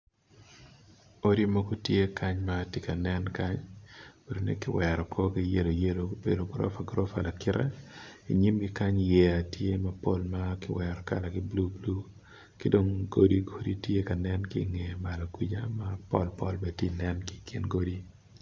Odi mogo tye kany kiwero korgi mayelo gubedo gurofa. I nyimgi kany yeya tye ma kalagi tye ma bulu ki dong god tye pol bene tye